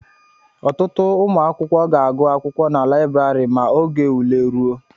Ọtụtụ ụmụ akwụkwọ ga-agụ akwụkwọ na librari ma oge ule ruo